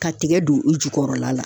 Ka tigɛ don u jukɔrɔla la